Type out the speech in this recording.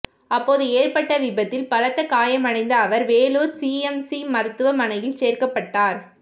அப்போது ஏற்பட்ட விபத்தில் பலத்த காயமடைந்த அவர் வேலூர் சிஎம்சி மருத்துவமனையில் சேர்க்கப்பட்டார்